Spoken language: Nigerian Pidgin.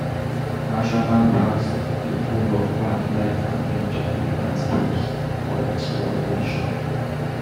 National parks dey full of wildlife and beautiful landscapes for exploration.